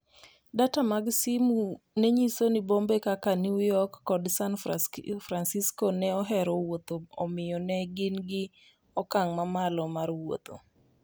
Data mag simu mag simu nenyiso ni bombe kaka New York kod San Francisco ne ohero wuotho ​​omiyo ne gin gi okang' mamalo mar wuotho.